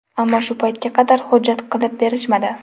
Ammo shu paytga qadar hujjat qilib berishmadi.